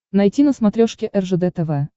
найти на смотрешке ржд тв